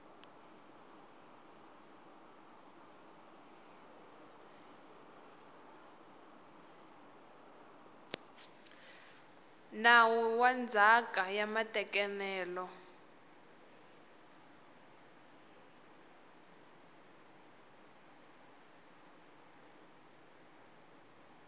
nawu wa ndzhaka ya matekanelo